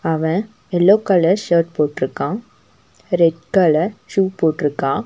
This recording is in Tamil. அவன் யெல்லோ கலர் சர்ட் போட்ருக்கான் ரெட் கலர் ஷூ போட்ருக்கான்.